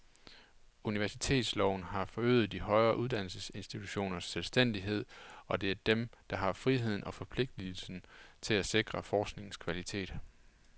Universitetsloven har forøget de højere uddannelsesinstitutioners selvstændighed, og det er dem, der har friheden og forpligtelsen til at sikre forskningens kvalitet.